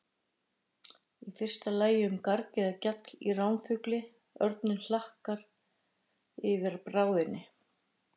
Í fyrsta lagi um garg eða gjall í ránfugli, örninn hlakkar yfir bráðinni.